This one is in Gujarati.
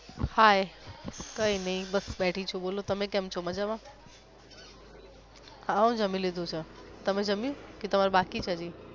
hi કય નય બસ બેઠી છું બોલો તમે કેમ છો મજામા? હાહો જમી લીધુ છે તમે જમ્યુ કે તમારે બાકી છે હજી?